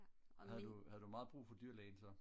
havde du meget brug for dyrlægen så?